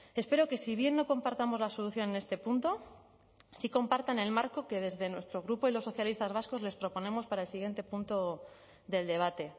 espero que si bien no compartamos la solución en este punto sí compartan el marco que desde nuestro grupo y los socialistas vascos les proponemos para el siguiente punto del debate